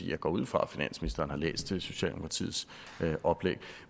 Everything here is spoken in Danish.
jeg går ud fra at finansministeren har læst socialdemokratiets oplæg